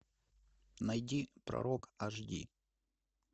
найди пророк аш ди